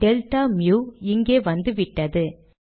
delta மு இங்கே வந்துவிட்டது